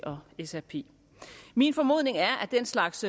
og srp min formodning er at den slags